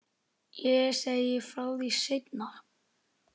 Ég segi frá því seinna.